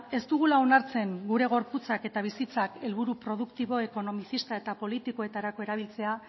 ez dugula onartzen gure gorputzak eta bizitzak helburu produktibo ekonomizista eta politikoetarako erabiltzea